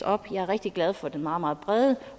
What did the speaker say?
op jeg er rigtig glad for den meget brede